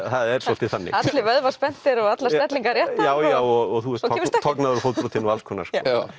er svolítið þannig allir vöðvar spenntir og allar stellingar réttar já og þú ert tognaður og fótbrotinn og alls konar